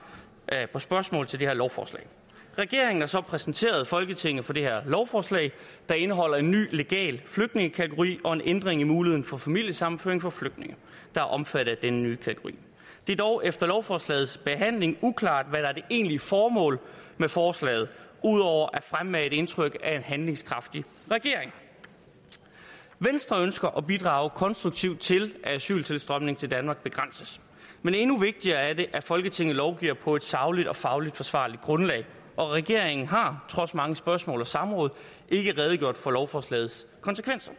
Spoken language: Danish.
på spørgsmål til det her lovforslag regeringen har så præsenteret folketinget for det her lovforslag der indeholder en ny legal flygtningekategori og en ændring i muligheden for familiesammenføring for flygtninge der er omfattet af denne nye kategori det er dog efter lovforslagets behandling uklart hvad der er det egentlige formål med forslaget ud over at fremmane et indtryk af en handlingskraftig regering venstre ønsker at bidrage konstruktivt til at asyltilstrømningen til danmark begrænses men endnu vigtigere er det at folketinget lovgiver på et sagligt og fagligt forsvarligt grundlag og regeringen har trods mange spørgsmål og samråd ikke redegjort for lovforslagets konsekvenser